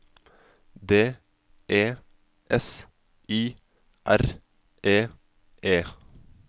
D E S I R E E